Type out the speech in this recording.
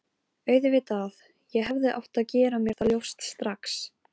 Auðvitað, ég hefði átt að gera mér það ljóst strax.